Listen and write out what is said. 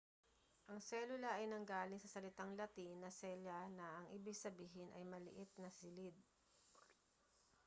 ang selula ay nanggaling sa salitang latin na cella na ang ibig sabihin ay maliit na silid